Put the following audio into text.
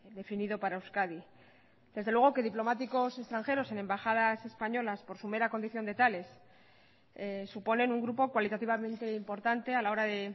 definido para euskadi desde luego que diplomáticos extranjeros en embajadas españolas por su mera condición de tales suponen un grupo cualitativamente importante a la hora de